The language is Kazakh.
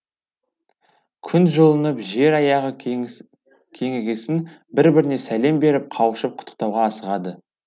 күн жылынып жер аяғы кеңігесін бір біріне сәлем беріп қауышып құттықтауға асығады